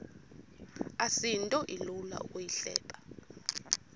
asinto ilula ukuyihleba